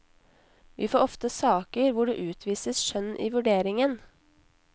Vi får ofte saker hvor det utvises skjønn i vurderingen.